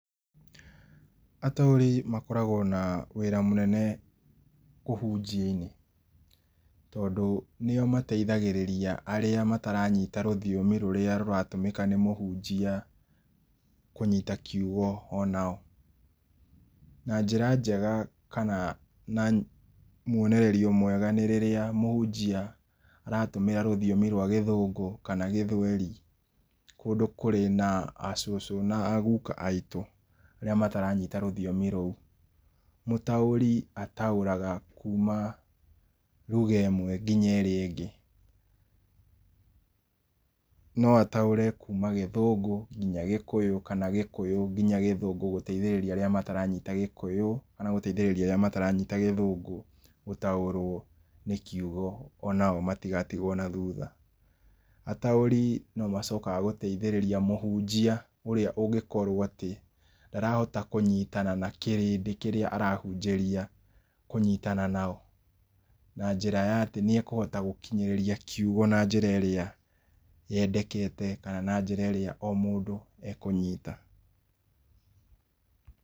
Atauri makoragwo na wĩra mũnene ũhunjia-inĩ. Tondũ nĩo mateithagĩrĩria arĩa mataranyita rũthiomi rũrĩa rũratũmĩka nĩ mũhunjia kũnyita kiugo o nao. Na njĩra njega kana na mwonererio mwega nĩ rĩrĩa mũhunjia aratũmĩra rũthiomi rwa Gĩthũngũ kana Gĩthweri kũndũ kurĩ na acũcũ na aguuka aitũ arĩa mataranyita rũthiomi rũu. Mũtaũri ataũraga kuma ruga ĩmwe nginya ĩrĩa ĩngĩ. No ataũre kuma Gĩthũngũ nginya Gĩkũyũ kana Gĩkũyũ nginya Gĩthũngũ gũteithĩrĩria arĩa mataranyita Gĩkũyũ kana gũteithĩrĩria arĩa mataranyita Gĩthũngũ gũtaũrwo nĩ kiugo onao matigatigwo na thutha. Ataũri no macokaga gũteithĩrĩria mũhunjia ũrĩa ũngĩkorwo atĩ ndarahota kũnyitana na kĩrĩndĩ kĩrĩa arahunjĩria kũnyitana nao, na njĩra ya atĩ nĩekũhota gũkinyĩrĩria kiugo na njĩra ĩrĩa yendekete kana na njĩra o mũndũ ekũnyita.